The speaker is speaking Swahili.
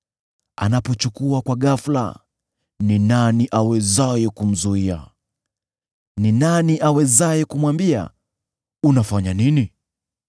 Anapochukua kwa ghafula, ni nani awezaye kumzuia? Ni nani awezaye kumwambia, ‘Unafanya nini?’